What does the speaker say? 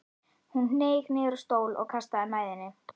Hún hneig niður á stól og kastaði mæðinni.